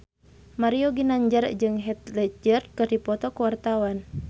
Mario Ginanjar jeung Heath Ledger keur dipoto ku wartawan